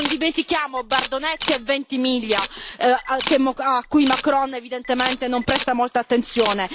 Non dimentichiamo Bardonecchia e Ventimiglia, a cui Macron evidentemente non presta molta attenzione.